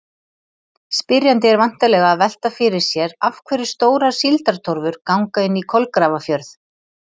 Spyrjandi er væntanlega að velta fyrir sér af hverju stórar síldartorfur ganga inn í Kolgrafafjörð.